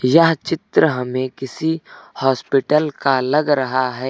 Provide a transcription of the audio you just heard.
यह चित्र हमें किसी हॉस्पिटल का लग रहा है।